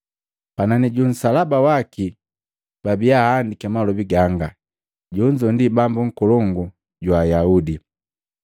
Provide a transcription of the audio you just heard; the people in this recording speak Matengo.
Panani ju nsalaba waki babia ahandiki malobi ganga, “Jonzo ndi Bambu Nkolongu jwa Ayaudi.”